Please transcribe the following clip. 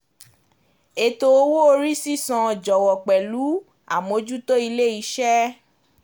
Ètò owó orí sísan jọ̀wọ̀ pẹ̀lú àmójútó ilé iṣẹ́.